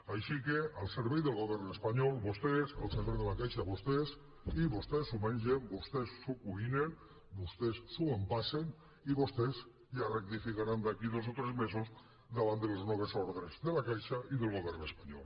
així que al servei del govern espanyol vostès al servei de la caixa vostès i vostès s’ho mengen vostès s’ho cuinen vostès s’ho empassen i vostès ja rectificaran d’aquí a dos o tres mesos davant de les noves ordres de la caixa i del govern espanyol